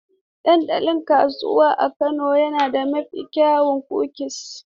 Dandalin kasuwa a Kano na da mafi kyawun kukis.